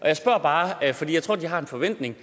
jeg spørger bare fordi jeg tror de har en forventning